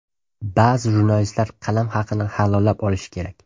Ba’zi jurnalistlar qalam haqini halollab olishi kerak.